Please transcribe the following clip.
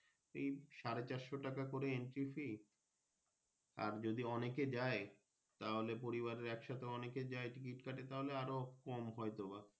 এই সাড়ে চারশো টাকা করে Entry fee আর যদি অনেক এ যাই তাহলে পরিবারের একসাথে অনেকে যাই Ticket কাটে তাহলে আরো কম হয় তো বা।